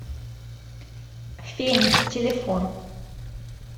феникс телефон